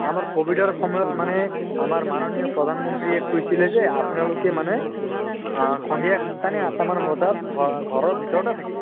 আমাৰ কভিডৰ সময়ত মানে আমাৰ মাননীয় প্ৰধান মন্ত্ৰীয়ে কৈছিলে যে আপোনালোকে মানে সন্ধিয়া সাত টা নে আঠ টা মান বজাত ঘৰ অহ ঘৰৰ ভিতৰতে থাকি